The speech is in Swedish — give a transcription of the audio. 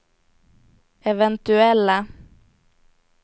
eventuella